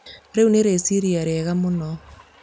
riu nĩ rĩciria rĩega mũno